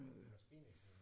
Maskiningeniør